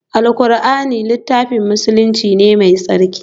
Alqur'ani littafin musulunci ne mai tsarki